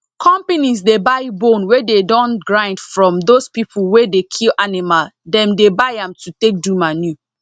companies dey buy bone wey dey don grind from those people wey dey kill animal them dey buy am to take do manure